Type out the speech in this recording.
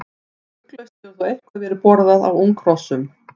Ugglaust hefur þó eitthvað verið borðað af unghrossum.